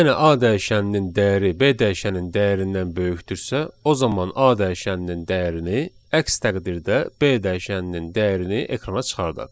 Yəni A dəyişəninin dəyəri B dəyişəninin dəyərindən böyükdürsə, o zaman A dəyişəninin dəyərini, əks təqdirdə B dəyişəninin dəyərini ekrana çıxardaq.